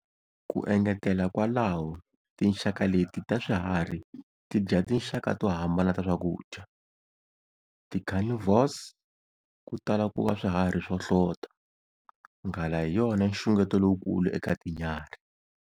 Ku engetela kwalaho tinxaka leti ta swiharhi ti dya tinxaka to hambana ta swakudya. Ti carnivores ku tala ku va swihari swo hlota. nghala hi yona nxungeto lowukulu eka tinyarhi.